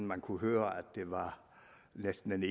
man kunne høre det næsten